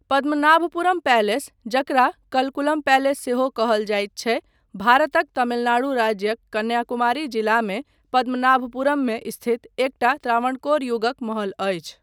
Padmanabhapuram palace, जकरा Kalkulam palace सेहो कहल जाइत छै, भारतक तमिलनाडु राज्यक कन्याकुमारी जिलामे पद्मनाभपुरममे स्थित एकटा त्रावणकोर युगक महल अछि।